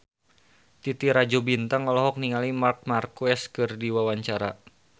Titi Rajo Bintang olohok ningali Marc Marquez keur diwawancara